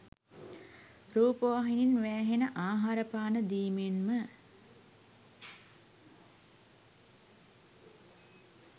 රූපවාහිනියෙන් වෑහෙන ආහාර පාන දීමෙන් ම